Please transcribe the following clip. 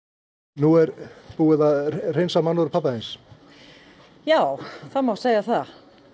nú er búið að hreinsa mannorð pabba þíns já það má segja það